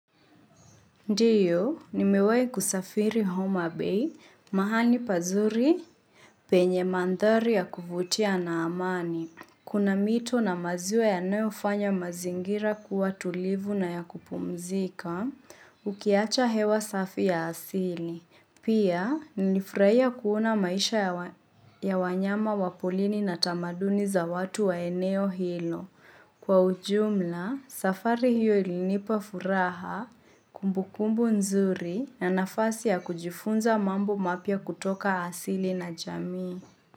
Ndio, nimewahi kusafiri homa Bay, mahali pazuri penye mandhari ya kuvutia na amani. Kuna mito na maziwa yanofanya mazingira kuwa tulivu na ya kupumzika, ukiacha hewa safi ya asili. Pia, nilifurahia kuona maisha ya wanyama wa polini na tamaduni za watu wa eneo hilo. Kwa ujumla, safari hiyo ilinipa furaha, kumbukumbu nzuri na nafasi ya kujifunza mambo mapya kutoka asili na jami.